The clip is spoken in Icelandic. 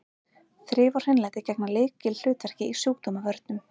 Þrif og hreinlæti gegna lykilhlutverki í sjúkdómavörnum.